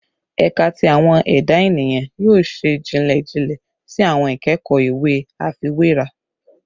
Ẹka ti Awọn Eda Eniyan yoo ṣe jinlẹ jinlẹ si awọn ikẹkọ iwe afiwera